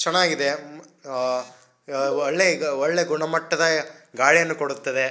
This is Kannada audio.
ಚೆನ್ನಾಗಿದೆ ಹ ಆ ಒಳ್ಳೆ ಈಗ ಒಳ್ಳೆ ಗುಣಮಟ್ಟದ ಗಾಳಿಯನ್ನು ಕೊಡುತ್ತದೆ.